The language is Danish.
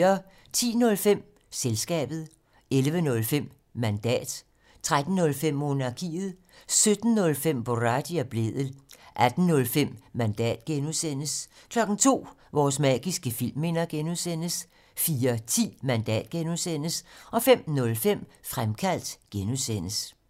10:05: Selskabet 11:05: Mandat 13:05: Monarkiet 17:05: Boraghi og Blædel 18:05: Mandat (G) 02:00: Vores magiske filmminder (G) 04:10: Mandat (G) 05:05: Fremkaldt (G)